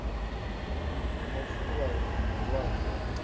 wa mafuvhalo na malwadze a